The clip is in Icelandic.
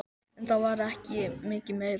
En það var ekki mikið meira.